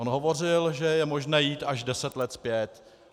On hovořil, že je možné jít až deset let zpět.